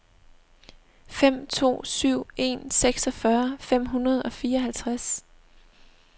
fem to syv en seksogfyrre fem hundrede og fireoghalvtreds